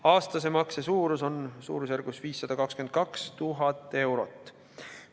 Aastase makse suurus on suurusjärgus 522 000 eurot.